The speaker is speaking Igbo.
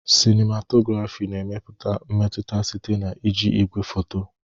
Sinimatografi na-emepụta mmetụta site na iji igwefoto.